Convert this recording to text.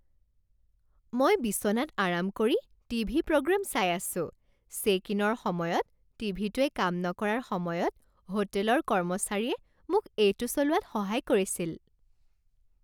মই বিচনাত আৰাম কৰি টি ভি প্ৰ'গ্ৰাম চাই আছো। চেক ইনৰ সময়ত টিভিটোৱে কাম নকৰাৰ সময়ত হোটেলৰ কৰ্মচাৰীয়ে মোক এইটো চলোৱাত সহায় কৰিছিল।